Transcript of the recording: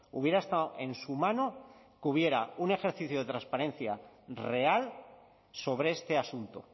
hubiera estado en su mano que hubiera un ejercicio de transparencia real sobre este asunto